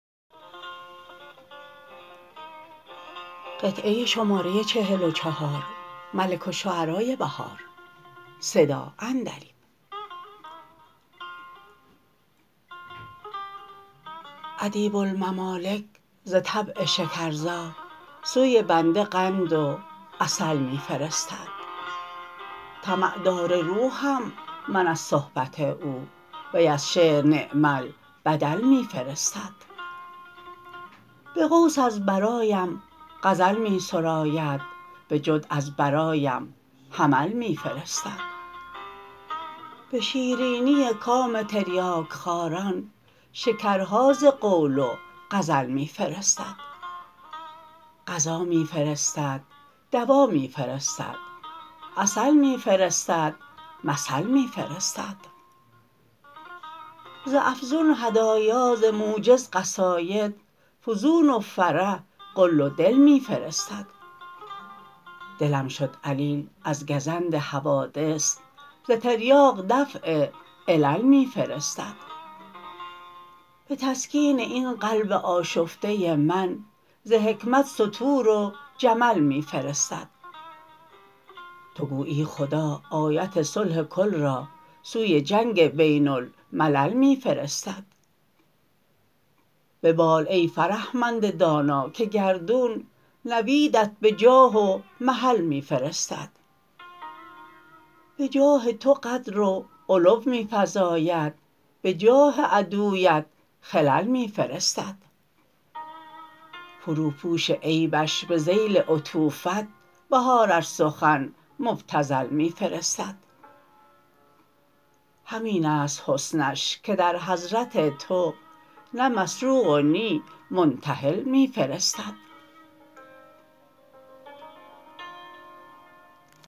ادیب الممالک ز طبع شکرزا سوی بنده قند و عسل می فرستد طمع دار روحم من از صحبت او وی از شعر نعم البدل می فرستد به قوس از برایم غزل می سراید به جد از برایم حمل می فرستد به شیرینی کام تریاک خواران شکرها زقول وغزل می فرستد غذا می فرستد دوا می فرستد عسل می فرستد مثل می فرستد ز افزون هدایا ز موجز قصاید فزون وفره قل ودل می فرستد دلم شد علیل از گزند حوادث ز تریاق دفع علل می فرستد به تسکین این قلب آشفته من ز حکمت سطور و جمل می فرستد تو گویی خدا آیت صلح کل را سوی جنگ بین الملل می فرستد ببال ای فرهمند دانا که گردون نویدت به جاه و محل می فرستد به جاه تو قدر و علو می فزاید به جاه عدویت خلل می فرستد فروپوش عیبش به ذیل عطوفت بهار ار سخن مبتذل می فرستد همین است حسنش که درحضرت تو نه مسروق ونی منتحل می فرستد